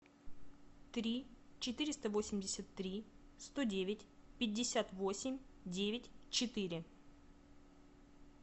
три четыреста восемьдесят три сто девять пятьдесят восемь девять четыре